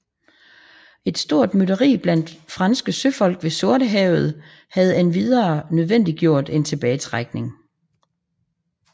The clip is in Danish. Et stort mytteri blandt franske søfolk ved Sortehavet havde endvidere nødvendiggjort en tilbagetrækning